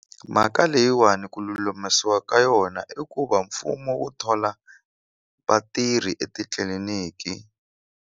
Mhaka leyiwani ku lulamisiwa ka yona i ku va mfumo wu thola vatirhi etitliliniki.